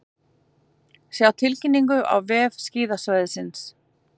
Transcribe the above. Sjá tilkynningu á vef skíðasvæðisins